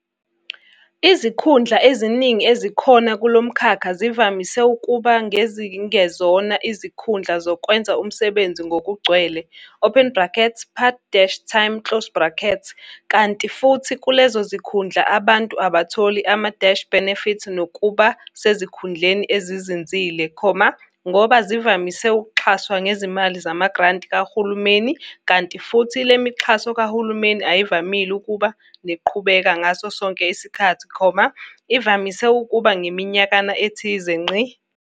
Izikhundla eziningi ezikhona kulo mkhakha zivamise ukuba ngezingezona izikkhundla zokwenza umsebenzi ngokugcwele open bracketspart-time closed bracket kanti futhi kulezo zikhundla abantu abatholi ama-benefit nokuba sezikhundleni ezinzile, ngoba zivamises ukuxhaswa ngezimali zamagranti kahulumeni kanti futhi le mixhaso kahulumeni ayivamile ukuba ngeqhubeka ngaso sonke isikhathi, ivamise ukuba ngeminyakana ethize.